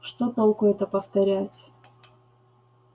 что толку это повторять